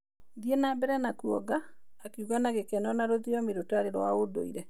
Thiĩ na mbere kũonga", akiuga na gĩkeno na rũthiomi rũtarĩ rwa ndũire.